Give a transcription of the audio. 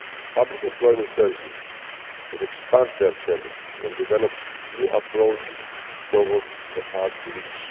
Public employment services have expanded their services and developed new approaches towards the hard-to-reach.